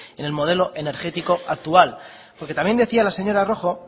en el modelo energético actual porque también decía la señora rojo